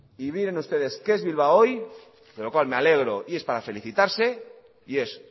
y miren ustedes qué es bilbao hoy de lo cual me alegro y es para felicitarse y es